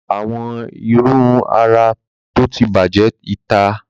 Àwọn irun-ara tó ti bàjẹ́, ìta!